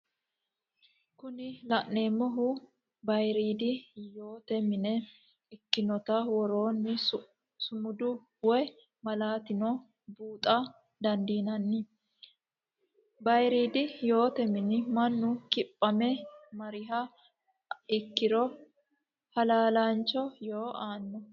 Kuni la'neemohu bayiridi yoote mine ikkinotta woronni sumudi woyi malatinni buuxxa dandinanni, bayiridi yoote mini manu kiphame mariha ikkiro halalancho yoo aano